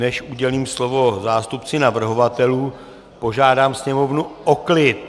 Než udělím slovo zástupci navrhovatelů, požádám Sněmovnu o klid.